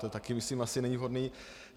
To taky myslím asi není vhodné.